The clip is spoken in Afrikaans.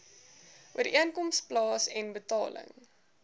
ooreenkoms plaasen betaling